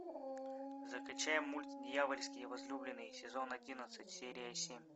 закачай мульт дьявольские возлюбленные сезон одиннадцать серия семь